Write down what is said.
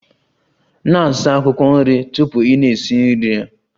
Na-asa akwụkwọ nri tupu ị na-esi nri ha!